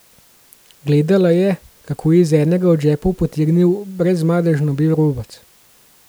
Gledala je, kako je iz enega od žepov potegnil brezmadežno bel robec.